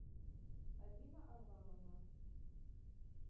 алина арлановна